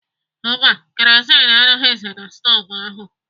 Mba, kerozin anọghizi na stovu ahụ.